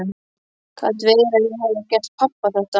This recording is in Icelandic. Gat verið að ég hefði gert pabba þetta?